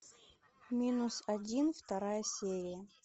минус один вторая серия